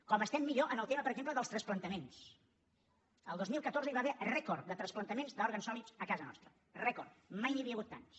com estem millor en el tema per exemple dels transplantaments el dos mil catorze hi va haver rècord de transplantaments d’òrgans sòlids a casa nostra rècord mai n’hi havia hagut tants